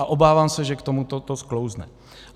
A obávám se, že k tomuto to sklouzne.